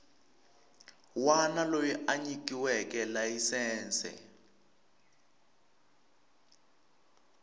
wana loyi a nyikiweke layisense